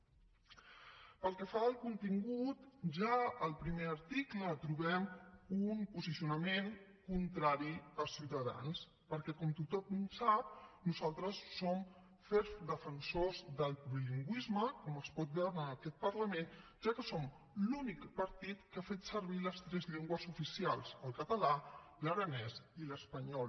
pel que fa al contingut ja al primer article trobem un posicionament contrari a ciuta dans perquè com tothom sap nosaltres som ferms defensors del plurilingüisme com es pot veure en aquest parlament ja que som l’únic partit que ha fet servir les tres llengües oficials el català l’aranès i l’espanyol